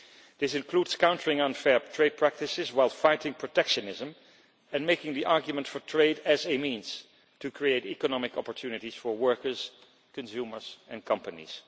This includes countering unfair trade practices, while fighting protectionism and making the argument for trade as a means to create economic opportunities for workers, consumers and companies.